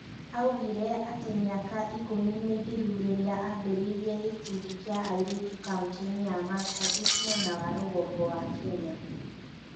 Augire atĩ mĩaka ikũmi mĩthiru rĩrĩa aambĩrĩirie gĩkundi kĩa airĩtu kauntĩ-inĩ ya Marsabit mwena wa rũgongo wa Kenya.